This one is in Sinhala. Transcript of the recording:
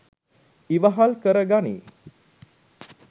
ඉවහල් කර ගනී